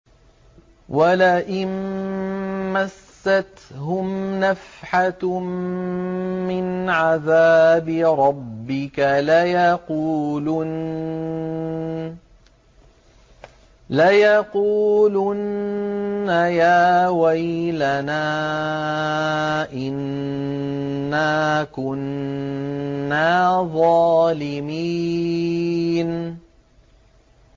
وَلَئِن مَّسَّتْهُمْ نَفْحَةٌ مِّنْ عَذَابِ رَبِّكَ لَيَقُولُنَّ يَا وَيْلَنَا إِنَّا كُنَّا ظَالِمِينَ